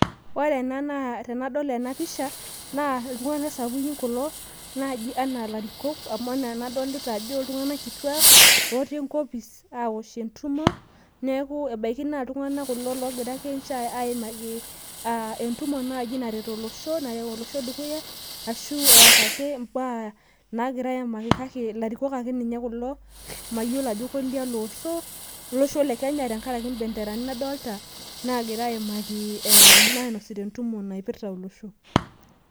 ore ena naa tenadol ena pisha, naa iltunganak sapukin kulonaaji anaa ilarikok, anaa enadolita, ajo iltuganak kituiak, otii enkopis aosh entumo, neeku ebaiki naa iltunganak kulo, loogira ake ninche atoni aimaki, entumo naaji naret olosho, nareu olosho dukuya, ashu eeta ake ibaa nagira aimaki, kake ilarikok ake kulo. mayiolo ajo kolialo sho, olosho, olsho le kenya tenkaraki ibenderani nadoolta, naagira aimaki nainosita, entumo naipirta olosho.